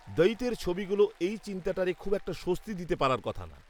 দঈতের ছবিগুলা এই চিন্তাটারে খুব একটা স্বস্তি দিতে পারার কথা না